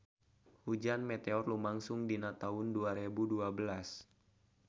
Hujan meteor lumangsung dina taun dua rebu dua belas